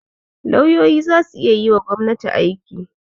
Lauyoyi za su iya yiwa gobnati aiki.